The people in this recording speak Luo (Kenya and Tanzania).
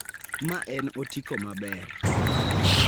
Ma en otiko maber.